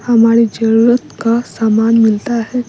हमारी जरूरत का सामान मिलता है।